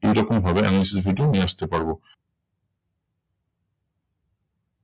এইরকম ভাবে analysis video নিয়ে আসতে পারবো।